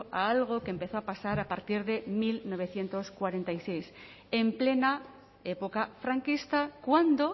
a algo que empezó a pasar a partir de mil novecientos cuarenta y seis en plena época franquista cuando